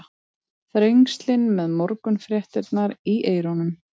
Þrengslin með morgunfréttirnar í eyrunum.